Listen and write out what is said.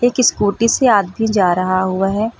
कि स्कूटी से आदमी जा रहा हुआ है।